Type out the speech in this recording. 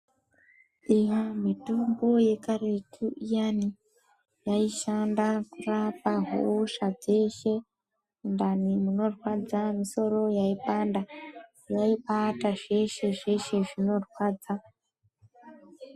Iya mitombo yakaretu inyani yaishanda kurapa hosha dzeshe mundani munorwadza, musoro yaipanda yaibaita zveshe-zveshe zvinorwadza.